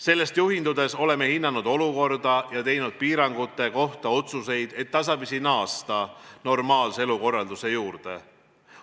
Sellest juhindudes oleme hinnanud olukorda ja teinud piirangute kohta otsuseid, et tasapisi naasta normaalse elukorralduse juurde.